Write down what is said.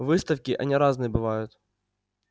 выставки они разные бывают